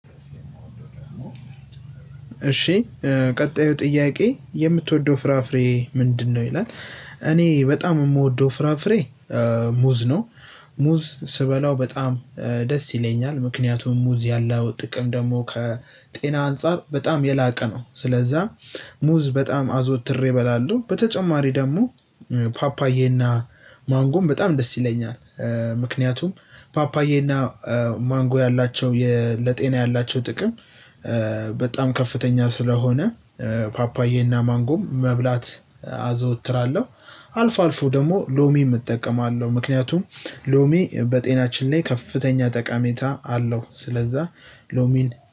እሺ ቀጣዩ ጥያቄ የምትወደው ፍራፍሬ ምንድነው ይላል? እኔ በጣም የምወደው ፍራፍሬ ሙዝ ነው። ሙዝ ስበላው በጣም ደስ ይለኛል። ምክንያቱም ሙዝ ያለው ጥቅም ደግሞ ከጤና አንፃር በጣም የላቀ ነው። ስለዛ ሙዝ በጣም አዘውትሬ እበላለሁ። በተጨማሪ ደግሞ ፓፓዬና ማንጎም በጣም ደስ ይለኛል። ምክንያቱም ፓፓዬ እና ማንጎ ያላቸው ለ ጤና ያላቸው ጥቅም። በጣም ከፍተኛ ስለሆነ ፓፓዬና ማንጎም መብላት አዘወትራለሁ። አልፎ አልፎ ደግሞ ሎሚም እጠቀማለሁ። ምክንያቱም ሎሚ በጤናችን ላይ ከፍተኛ ጠቀሜታ አለው። ስለዛ ሎሚን